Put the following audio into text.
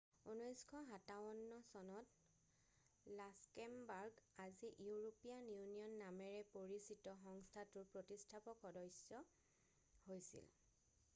1957 চনত লাক্সেমবাৰ্গ আজি European Union নামেৰে পৰিচিত সংস্থাটোৰ প্ৰতিষ্ঠাপক সদস্য হৈছিল